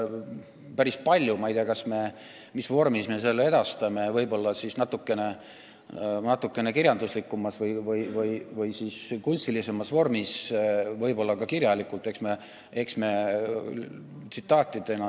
Ma ei tea, mis vormis me need edastame: võib-olla natukene kirjanduslikumas või kunstilisemas vormis või ka kirjalikult tsitaatidena.